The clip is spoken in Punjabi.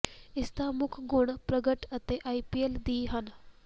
ਇਸ ਦਾ ਮੁੱਖ ਗੁਣ ਪ੍ਰਗਟ ਅਤੇ ਆਈਪੀਐਲ ਦੀ ਹਨ